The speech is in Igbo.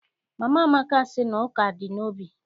Mama Amaka sị na ụka dị n'obi.